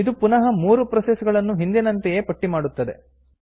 ಇದು ಪುನಃ ಮೂರು ಪ್ರೋಸೆಸ್ ಗಳನ್ನು ಹಿಂದಿನಂತೆಯೇ ಪಟ್ಟಿ ಮಾಡುತ್ತದೆ